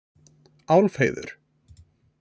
Álfheiður